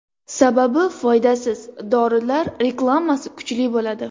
Sababi foydasiz dorilar reklamasi kuchli bo‘ladi.